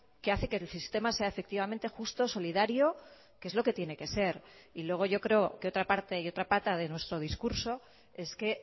que hace que el sistema sea efectivamente justo solidario que es lo que tiene que ser y luego yo creo que otra parte y otra pata de nuestro discurso es que